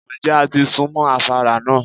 Ǹjẹ́ a ti sún mọ́ afárá náà?